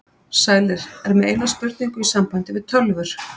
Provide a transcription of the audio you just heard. Sælir, er með eina spurningu í sambandi við tölvur.